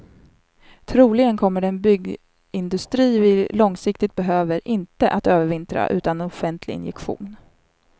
Troligen kommer den byggindustri vi långsiktigt behöver inte att övervintra utan en offentlig injektion.